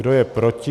Kdo je proti?